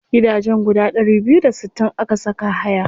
Gidajen guda ɗari biyu da sittin aka saka haya.